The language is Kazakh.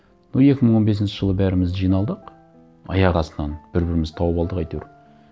но екі мың он бесінші жылы бәріміз жиналдық аяқ астынан бір бірімізді тауып алдық әйтеуір